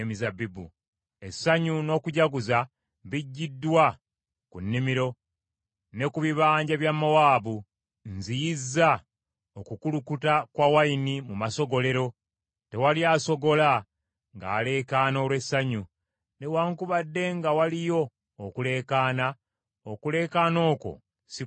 Essanyu n’okujaguza biggiddwa ku nnimiro ne ku bibanja bya Mowaabu. Nziyizza okukulukuta kwa wayini mu masogolero; tewali asogola ng’aleekaana olw’essanyu. Newaakubadde nga waliyo okuleekaana, okuleekaana okwo si kwa ssanyu.